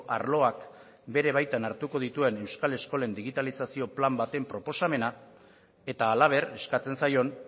arloak bere baitan hartuko dituen euskal eskolen digitalizazio plan baten proposamena eta halaber eskatzen zaion